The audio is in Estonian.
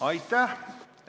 Aitäh!